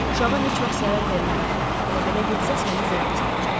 Uşağa heç vaxt zərər vermərəm, amma belə getsə səni ziyanə salacam.